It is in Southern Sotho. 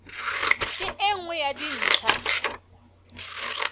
ke e nngwe ya dintlha